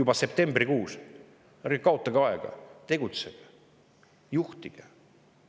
Ärge kaotage aega, tegutsege, juhtige!